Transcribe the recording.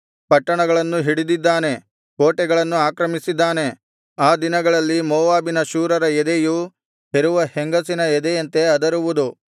ಪಟ್ಟಣಗಳನ್ನು ಹಿಡಿದಿದ್ದಾನೆ ಕೋಟೆಗಳನ್ನು ಆಕ್ರಮಿಸಿದ್ದಾನೆ ಆ ದಿನಗಳಲ್ಲಿ ಮೋವಾಬಿನ ಶೂರರ ಎದೆಯು ಹೆರುವ ಹೆಂಗಸಿನ ಎದೆಯಂತೆ ಅದರುವುದು